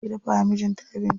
Mace ke dafawa mijin ta abinci.